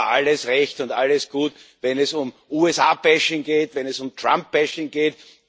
Es ist aber alles recht und alles gut, wenn es um USA geht, wenn es um Trump geht